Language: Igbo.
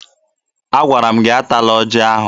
Agwara m gị atala ọjị ahụ!